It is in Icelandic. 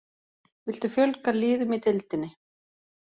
Viltu fjölga liðum í deildinni?